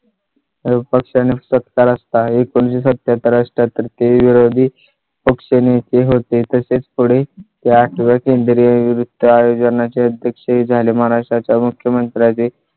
पक्षा ने सत्ता रस्ता एकोणीस शे सत्त्या हत्तर अठ्ठेहत्तर ते विरोधी पक्षनेते होते. तसेच पुढे ते आठव्या केंद्रीय वित्त आयोजना चे अध्यक्ष झाले. महाराष्ट्रा च्या मुख्यमंत्र्या चे